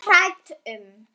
Svo hrædd um.